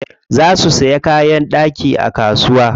Za su siya kayan ɗaki a kasuwa.